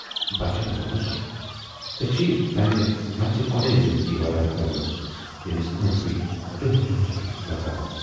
بچن وونُس۔ ژیے چھے تَمہِ مَژِ گۅڈٕے زِندگی وٲران کٔرمٕژ ییمِس ٲندۍ پٔکۍ دٔہۍ دۅہَس چُھس نژان۔